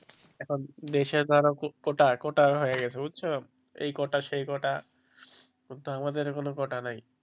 এখন দেশে ধরো কোটা কোটা হয়ে গেছে বুঝছো এই কোটা সেই কোটা ওটা আমাদের কোনো কোটা নাই.